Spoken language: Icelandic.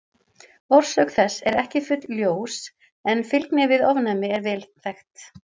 Orsök þess er ekki fullljós en fylgni við ofnæmi er vel þekkt.